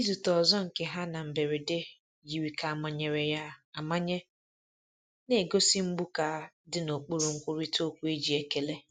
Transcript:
Izute ọzọ nke ha na mberede yiri ka amanyere ya amanye, na-egosi mgbu ka dị n’okpuru nkwurịta okwu e ji ekele.